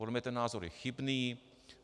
Podle mě ten názor je chybný.